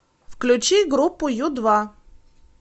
включи группу ю два